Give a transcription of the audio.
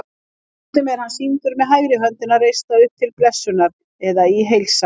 Stundum er hann sýndur með hægri höndina reista upp til blessunar eða í heilsan.